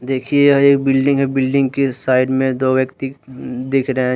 देखिए यह एक बिल्डिंग है बिल्डिंग के साइड में दो व्यक्ति दिख रहे हैं।